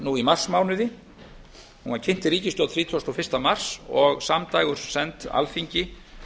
lauk í marsmánuði hún var kynnt ríkisstjórn þrítugasta og fyrsta mars og samdægurs send alþingi